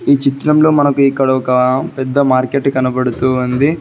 ఈ చిత్రంలో మనకు ఇక్కడ ఒక పెద్ద మార్కెట్ కనబడుతుంది.